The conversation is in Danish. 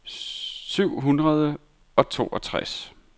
syv hundrede og toogtres